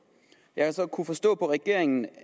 jeg har så kunnet forstå på regeringen